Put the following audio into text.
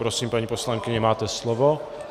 Prosím, paní poslankyně, máte slovo.